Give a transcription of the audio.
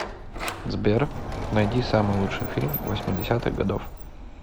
сбер найди самый лучший фильм восьми десятых годов